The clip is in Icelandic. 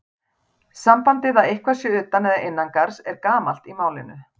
Sambandið að eitthvað sé utan eða innan garðs er gamalt í málinu.